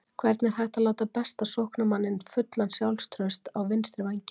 Hvernig er hægt að láta besta sóknarmanninn fullan sjálfstrausts á vinstri vænginn?